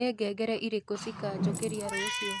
ni ngengere irĩku cikanjukiria ruciu